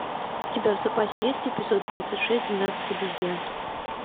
у тебя в запасе есть эпизод двадцать шесть двенадцать обезьян